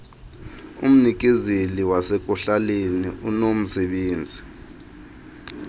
umnikezeli wasekuhlaleni unomsebenzi